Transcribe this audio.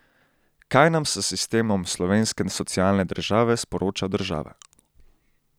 Kaj nam s sistemom slovenske socialne države sporoča država?